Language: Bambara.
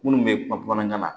Minnu bɛ kuma bamanankan na